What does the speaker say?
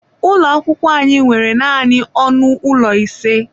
Ụlọ akwụkwọ anyị nwere naanị ọnụ ụlọ ise.